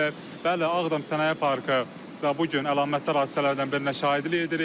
Bəli, Ağdam Sənaye Parkı bu gün əlamətdar hadisələrdən birinə şahidlik edirik.